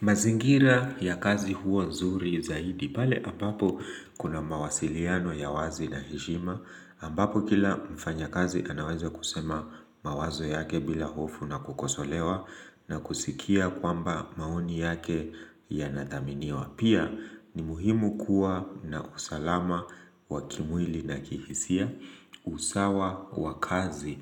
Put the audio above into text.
Mazingira ya kazi huwa nzuri zaidi, pale ambapo kuna mawasiliano ya wazi na heshima, ambapo kila mfanya kazi anaweza kusema mawazo yake bila hofu na kukosolewa na kusikia kwamba maoni yake ya nathaminiwa. Pia ni muhimu kuwa na usalama wa kimwili na kihisia, usawa wa kazi